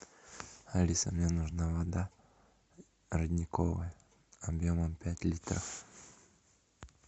алиса мне нужна вода родниковая объемом пять литров